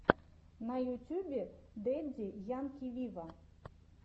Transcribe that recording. на ютюбе дэдди янки виво